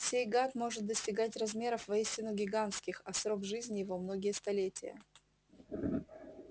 сей гад может достигать размеров воистину гигантских а срок жизни его многие столетия